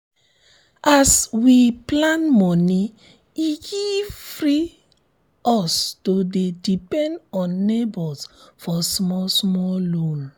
as we plan moni e give free us to dey depend on neighbors for small small loan.